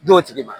D'o tigi ma